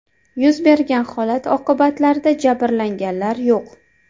Yuz bergan holat oqibatida jabrlanganlar yo‘q.